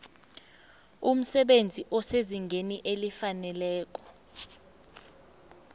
umsebenzi osezingeni elifaneleko